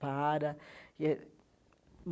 Para e eh.